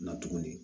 Na tuguni